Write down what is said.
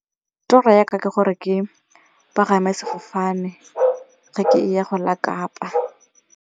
Toro ya ka ke gore ke pagame sefofane ga ke ya go la Kapa.